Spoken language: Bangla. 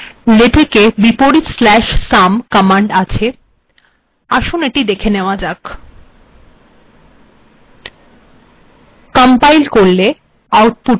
লেটেকে \sum কমান্ড আছে